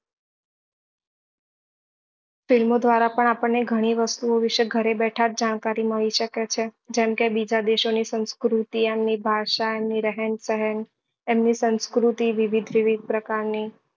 film દ્વારા પણ આપણને ગણી વસ્તુ ઓ વિશે ઘરે બેઠા જ જાણકારી મળી શકે છે જેમ કે બીજા દેશો ની સંસ્કૃતિ એમની ભાષા એમની રહેણ સહેન એમની સંસ્કૃતિ વિવિધ વિવિધ પ્રકાર ની